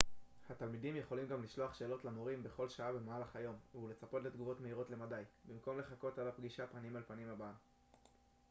התלמידים יכולים גם לשלוח שאלות למורים בכל שעה במהלך היום ולצפות לתגובות מהירות למדי במקום לחכות עד הפגישה פנים-אל-פנים הבאה